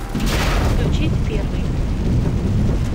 включить первый